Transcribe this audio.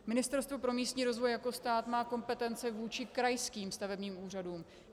Ministerstvo pro místní rozvoj jako stát má kompetenci vůči krajským stavebním úřadům.